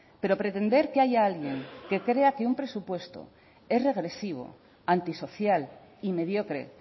pero pretender que haya alguien que crea que un presupuesto es regresivo antisocial y mediocre